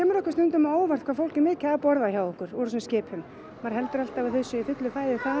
okkur stundum á óvart hvað fólk er mikið að borða hjá okkur úr þessum skipum maður heldur alltaf að þau séu í fullu fæði þar